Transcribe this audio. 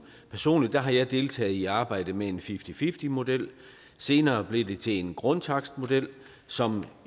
personligt har jeg deltaget i arbejdet med en fifty fifty model senere blev det til en grundtakstmodel som